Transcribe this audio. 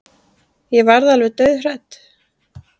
Ég varð alveg dauðhrædd.